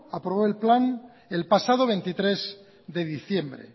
aprobó el plan el pasado veintitrés de diciembre